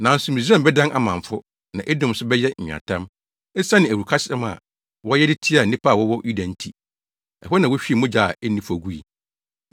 Nanso Misraim bɛdan amamfo, na Edom nso bɛyɛ nweatam, esiane awurukasɛm a wɔyɛ de tiaa nnipa a wɔwɔ Yuda nti. Ɛhɔ na wohwiee mogya a enni fɔ gui.